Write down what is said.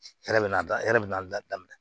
Hɛrɛ bɛna da e yɛrɛ bɛna da daminɛ